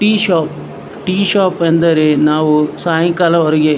T shop tea shop ಅಂದರೆ ಸಾಯಂಕಾಲ ನಾವು ಹೊರಗೆ --